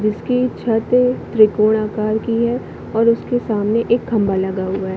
जिसकी छत त्रिकोण आकर की है और उसके सामने एक खम्बा लगा हुआ है।